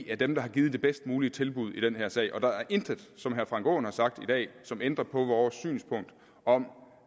er dem der har givet det bedst mulige tilbud i den her sag og der er intet af som herre frank aaen har sagt i dag som ændrer på vores synspunkt om